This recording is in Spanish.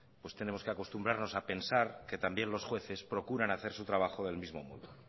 pues tenemos que acostumbrarnos a pensar que también los jueces procuran hacer su trabajo del mismo modo